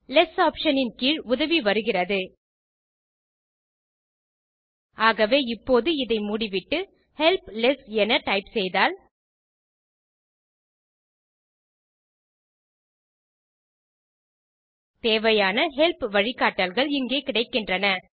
less option இன் கீழ் உதவி இருக்கிறது ஆகவே இப்போது இதை மூடிவிட்டு ஹெல்ப் லெஸ் என டைப் செய்தால் தேவையான ஹெல்ப் வழிக்காட்டல்கள் இங்கே கிடைக்கின்றன